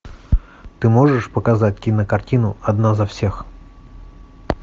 ты можешь показать кинокартину одна за всех